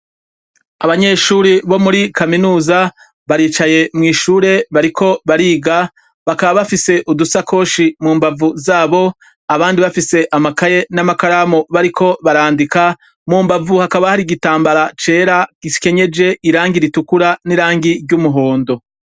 Abanyeshure bomuri kaminuza baricaye mw'ishuri bariko bariga. Bakaba bafise udusakoshi mumbavu zabo abandi bakaba bafise amakaye n'amakaramu bariko barandika. Mumbavu hakaba har'igitambara cera gikenyeje irangi ritukura n'irangi ry'umuhondo.